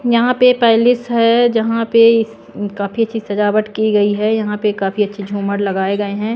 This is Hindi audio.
यहां पे पैलेस है जहां पे काफी अच्छी सजावट की गई है यहां पे काफी अच्छी झूमर लगाए गए हैं।